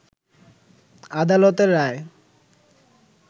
আদালতের রায়ে